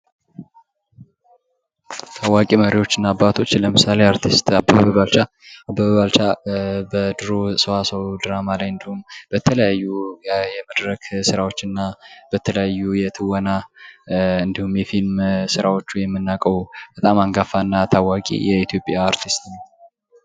ታዋቂ መሪዎችና አባቶች ለምሳሌ አርቲስት አበበ ባልቻ፤ አበበ ባልቻ በድሮ ሰዋሰው ድራማ እንዲሁም በተለያዩ የመድረክ የስራዎች እና በተለያዩ የትወና እንዲሁም የፊልም ስራወቹ የምናቀው በጣም አንጋፋና ታዋቂ የኢትዮጵያ አርቲስት ነው።